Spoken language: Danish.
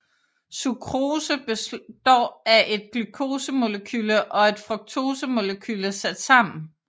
Sukrose består af et glukosemolekyle og et fruktosemolekyle sat sammen